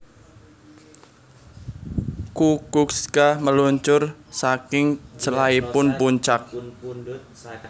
Kukuczka meluncur saking celaipun puncak